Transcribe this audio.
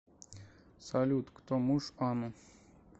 салют кто муж ану